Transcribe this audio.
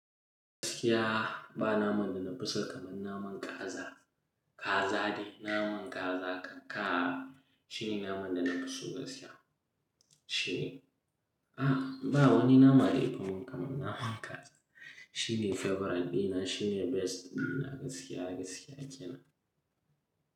Gaskiya ba naman da na fi so kamar naman kaza. Kaza ne, naman kaza ka, shine naman da na fi so gaskiya. Shi, a ba wani nama da yafimin kamar naman kaza. Shine favorite dina, shine best dina gaskiya, gaskiya kenan.